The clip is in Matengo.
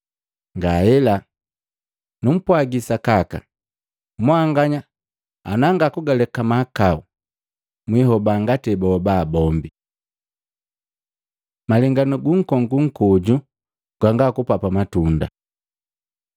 Ngahela! Numpwagi sakaka mwanganya ana ngakulekake mahakau, mwihoba ngati ebahoba bombi.” Malenganu gunkongu nkoju gwanga kupapa matunda